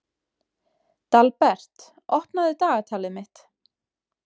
Dalbert, opnaðu dagatalið mitt.